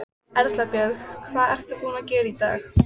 Erla Björg: Hvað ert þú búin að gera í dag?